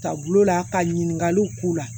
Ka gulola ka ɲininkaliw k'u la